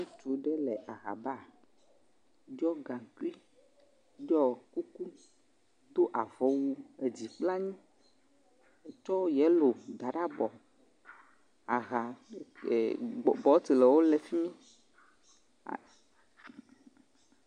Ŋutsu ɖewo le ahaba ɖɔ gaŋkui, ɖɔ kuku, do avɔwu dzi kple anyi tsɔ yellow da ɖe abɔ, aha ee.. gbo botewo le fi mi.